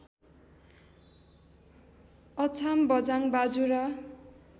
Achham Bajhang Bajura